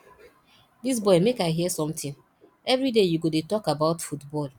dis boy make i hear something everyday you go dey talk about football